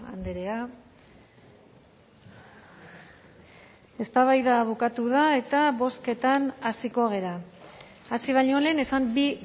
andrea eztabaida bukatu da eta bozketan hasiko gara hasi baino lehen esan bi